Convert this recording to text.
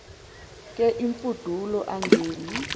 ke imfudulo angen